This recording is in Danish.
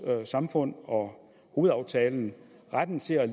samfund og hovedaftalen retten til at